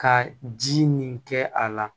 Ka ji nin kɛ a la